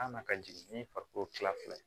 A na ka jigin ni farikolo kila fila ye